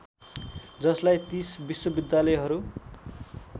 जसलाई ३० विश्वविद्यालहरू